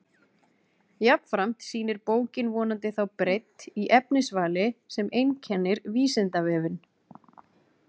Jafnframt sýnir bókin vonandi þá breidd í efnisvali sem einkennir Vísindavefinn.